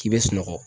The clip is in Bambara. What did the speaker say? K'i bɛ sunɔgɔ